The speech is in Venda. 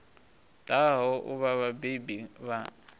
ḓaho u vha vhabebi vha